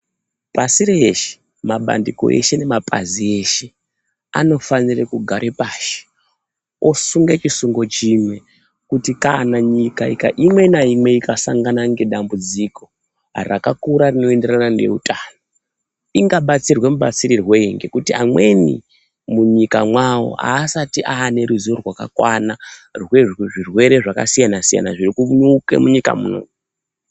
Pasi reshe mabandiko eshee nemapazi eshee anofanirwa kugare pashi osunge chisungo chinwe kuti kana nyika imwe nainwe ikasangane nedambudziko rakakura rakaita reutano ingabatsirwe mubatsirirwo weyi ngekuti amweni munyika nwawo asati ane ruzivo rwaka kwana rezvirwere zvakasiyana siyana zviri kunyuke munyika munomu.